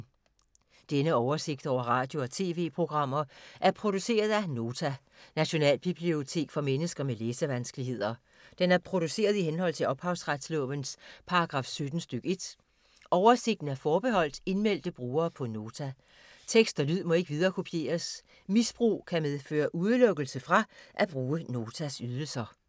Denne oversigt over radio og TV-programmer er produceret af Nota, Nationalbibliotek for mennesker med læsevanskeligheder. Den er produceret i henhold til ophavsretslovens paragraf 17 stk. 1. Oversigten er forbeholdt indmeldte brugere på Nota. Tekst og lyd må ikke viderekopieres. Misbrug kan medføre udelukkelse fra at bruge Notas ydelser.